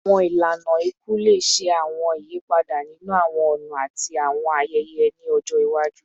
Awọn ilana iku le ṣe awọn iyipada ninu awọn ọna ati awọn ayẹyẹ ni ọjọ iwaju